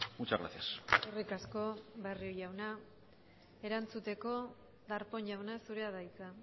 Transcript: muchas gracias eskerrik asko barrio jauna erantzuteko darpon jauna zurea da hitza